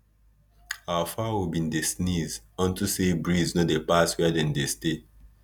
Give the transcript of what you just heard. our fowl been dey sneeze unto say breeze no dey pass where dem dey stay